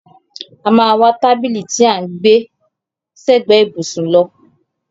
A máa wá tábìlì tí à ń gbẹ́ sẹ́gbẹ ìbùsùn lọ.